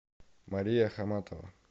мария хаматова